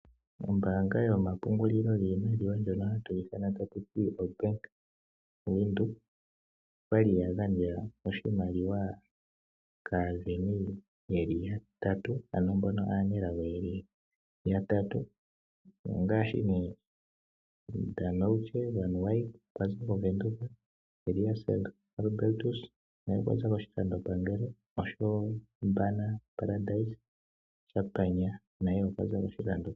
Ombaanga yomapungulilo giimaliwa ndjono hatu yi ithana taku ti oBank Windhoek oya li ya gandja oshimaliwa kaasindani ye li yatatu, ano mbono aanelago ye li yatatu: Danouche Van Wyk okwa za kOvenduka, Elias Albertus naye okwa za kOshilandopangelo osho wo Bana Paradzai naye okwa za kOshilando.